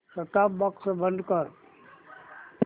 set top box बंद कर